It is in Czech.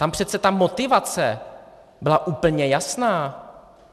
Tam přece ta motivace byla úplně jasná.